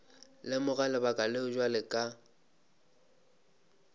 lemoga lebaka leo bjale ka